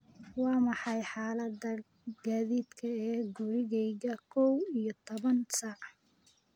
Waa maxay xaaladda gaadiidka ee gurigayga kow iyo toban saac?